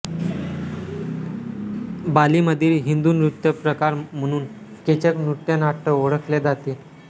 बालीमधील हिंदू नृत्य प्रकार म्हणून केचक नृत्यनाट्य ओळखले जाते